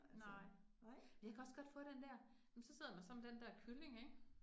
Nej, men det jeg kan også godt få den der. Men så sidder man så med den der kylling ik